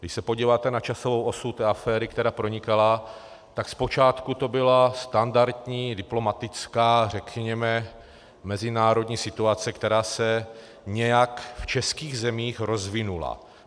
Když se podíváte na časovou osu té aféry, která pronikala, tak zpočátku to byla standardní diplomatická, řekněme mezinárodní situace, která se nějak v českých zemích rozvinula.